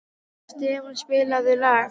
Stefán, spilaðu lag.